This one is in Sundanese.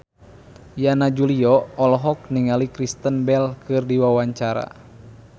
Yana Julio olohok ningali Kristen Bell keur diwawancara